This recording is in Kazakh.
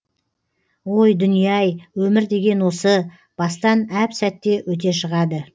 ой дүние ай өмір деген осы бастан әп сәтте өте шығады